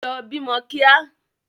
Lọ bímọ kíá!